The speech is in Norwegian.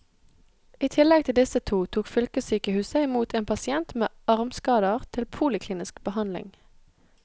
I tillegg til disse to tok fylkessykehuset i mot en pasient med armskader til poliklinisk behandling.